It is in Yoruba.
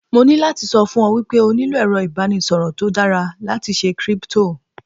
Mo ní láti sọ fún ọ wípé o nílò èrọ ìbánisọ̀rọ̀ tó dára láti ṣe Kírípútò.